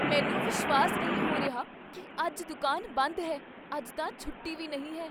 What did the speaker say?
ਮੈਨੂੰ ਵਿਸ਼ਵਾਸ ਨਹੀਂ ਹੋ ਰਿਹਾ ਕੀ ਅੱਜ ਦੁਕਾਨ ਬੰਦ ਹੈ! ਅੱਜ ਤਾਂ ਛੁੱਟੀ ਵੀ ਨਹੀਂ ਹੈ।